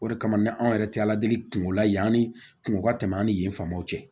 O de kama ni anw yɛrɛ tɛ ala deli kun la ye kungo ka tɛmɛ an ni yen faamaw cɛ